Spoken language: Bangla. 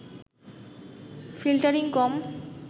ফিল্টারিং কম